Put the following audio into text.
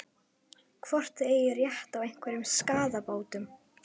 Hvort þið eigið rétt á einhverjum skaðabótum?